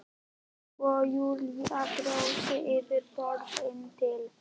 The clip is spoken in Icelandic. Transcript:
Og Júlía brosir yfir borðið til